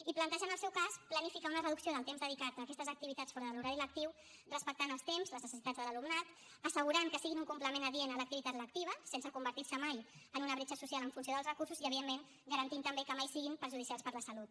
i plantejar en el seu cas planificar una reducció del temps dedicat a aquestes activitats fora de l’horari lectiu respectant els temps les necessitats de l’alumnat assegurant que siguin un complement adient a l’activitat lectiva sense convertir se mai en una bretxa social en funció dels recursos i evidentment garantint també que mai siguin perjudicials per a la salut